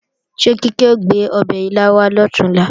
Ṣé Kíkẹ́ ò gbé ọbẹ̀ ilá wá lọ̀túnla?